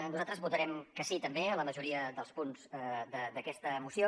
nosaltres votarem que sí també a la majoria dels punts d’aquesta moció